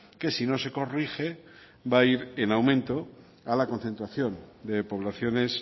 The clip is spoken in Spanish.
que si no se corrige va a ir en aumento a la concentración de poblaciones